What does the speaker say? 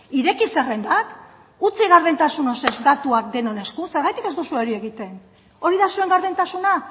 ireki zerrendak utzi gardentasun osoz datuak denon esku zergatik ez duzue hori egiten hori da zuen gardentasuna